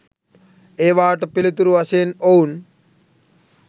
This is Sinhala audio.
ඒවාට පිළිතුරු වශයෙන් ඔවුන්